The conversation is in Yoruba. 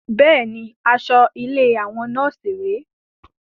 Bẹ́ẹ̀ni, aṣọ ilé àwọn nọ́ọ̀sì rè é